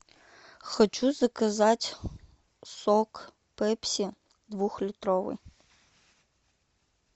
хочу заказать сок пепси двух литровый